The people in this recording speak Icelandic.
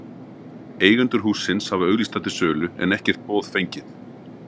Eigendur hússins hafa auglýst það til sölu, en ekkert boð fengið.